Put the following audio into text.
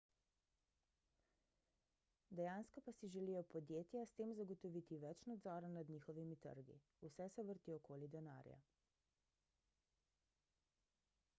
dejansko pa si želijo podjetja s tem zagotoviti več nadzora nad njihovimi trgi vse se vrti okoli denarja